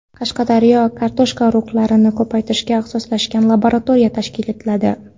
Qashqadaryoda kartoshka urug‘liklarini ko‘paytirishga ixtisoslashgan laboratoriya tashkil etiladi.